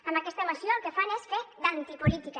amb aquesta moció el que fan és fer d’antipolítica